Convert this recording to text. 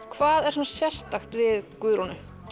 hvað er svona sérstakt við Guðrúnu